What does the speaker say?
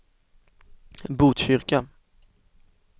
Botkyrka